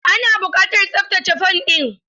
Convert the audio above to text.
Ana buƙatar tsabtace fan ɗin.